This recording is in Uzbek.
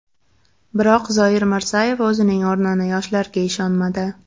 Biroq Zoir Mirzayev o‘zining o‘rnini yoshlarga ishonmadi.